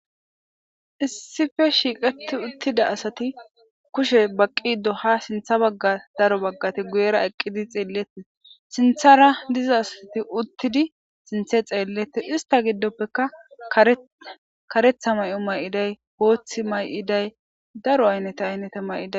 Issife shiiqati uttida asati kushe baqqi do ha sintha bagga daro baggati guyera eqqidi xeelleti sinthara diza asati uttidi sinthe xeelleti ista giddoppeka karetha may'o may'iday hooththi may'iday daro aynnete aynneta may'ida.